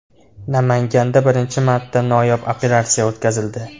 Namanganda birinchi marta noyob operatsiya o‘tkazildi.